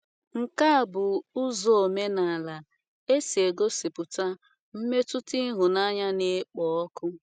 Nke a bụ ụzọ omenala e si egosipụta mmetụta ịhụnanya na - ekpo ọkụ.